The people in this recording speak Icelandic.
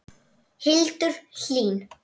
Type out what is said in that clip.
Hildur Hlín.